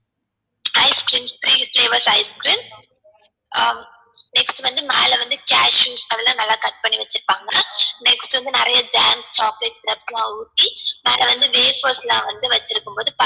ice creams three flavoured ice creams ah next வந்து மேல வந்து cashews அதுலாம் நல்லா வந்து cut பண்ணி வச்சிர்பாங்க next வந்து நிறைய jam chocolate syrup லாம் ஊத்தி மேல வந்து waffles லாம் வந்து வச்சிருக்கும்போது